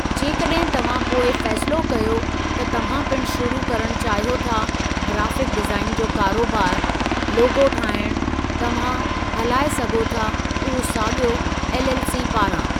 जेकॾहिं तव्हां बैदि में फ़ैसिलो कयो त तव्हां पिणु शुरू करणु चाहियो था ग्राफ़िक डीज़ाइन जो कारोबार. लोगो ठाहिणु, तव्हां हलाए सघो था उहो साॻियो एलएलसी पारां।